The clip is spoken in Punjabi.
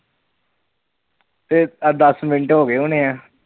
ਤੇ ਆਹ ਦੱਸ ਮਿੰਟ ਹੋ ਗਏ ਹੋਣੇ ਆ।